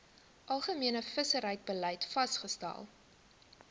algemene visserybeleid vasgestel